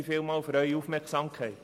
Vielen Dank für Ihre Aufmerksamkeit.